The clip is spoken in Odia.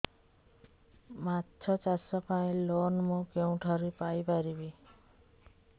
ମାଛ ଚାଷ ପାଇଁ ଲୋନ୍ ମୁଁ କେଉଁଠାରୁ ପାଇପାରିବି